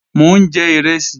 Mò ń jẹ ìrẹsì